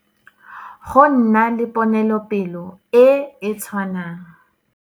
Go nna le ponelopele e e tshwanang.